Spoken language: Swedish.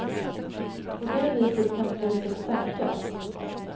På det viset kan priset sänkas.